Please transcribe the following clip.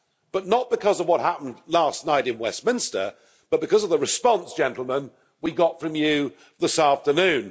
but not because of what happened last night in Westminster, but because of the response, gentlemen, we got from you this afternoon.